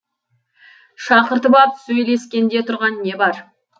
шақыртып ап сөйлескенде тұрған не бар